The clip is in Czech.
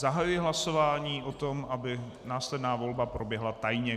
Zahajuji hlasování o tom, aby následná volba proběhla tajně.